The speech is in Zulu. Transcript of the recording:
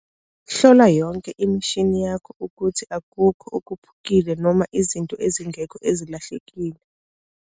Hlola yonke imishi yakho ukuthi akukukho okuphukile noma izinto ezingekho ezilahlekile.